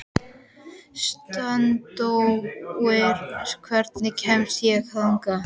Steindór, hvernig kemst ég þangað?